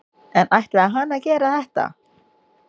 En ætlaði hann að gera þetta?